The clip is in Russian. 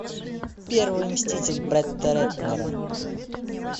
первый мститель бретта рэтнера